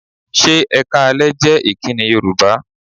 Ṣé "Ẹ káalẹ́" jẹ́ ìkíni Yorùbá?